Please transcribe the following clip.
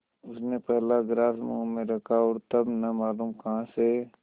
उसने पहला ग्रास मुँह में रखा और तब न मालूम कहाँ से